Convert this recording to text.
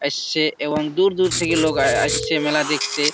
আসছে এবং দূর দূর থেকে লোক আ-ই-সছে মেলা দেখতে।